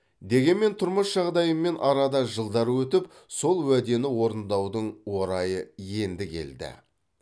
дегенмен тұрмыс жағдайымен арада жылдар өтіп сол уәдені орындаудың орайы енді келді